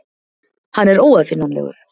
Hann er óaðfinnanlegur.